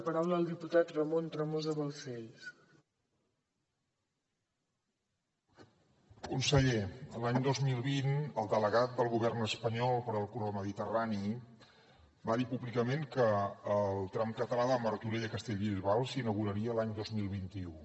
conseller l’any dos mil vint el delegat del govern espanyol per al corredor mediterrani va dir públicament que el tram català de martorell a castellbisbal s’inauguraria l’any dos mil vint u